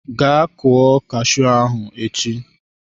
Gaa kụọ cashew ahụ echi!